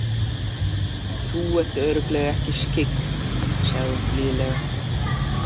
Þú ert örugglega ekki skyggn, sagði hún blíðlega.